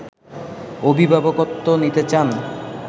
অভিভাবকত্ব নিতে চান